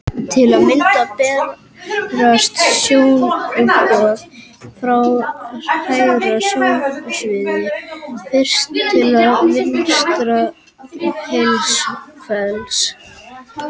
Til að mynda berast sjónboð frá hægra sjónsviði fyrst til vinstra heilahvels.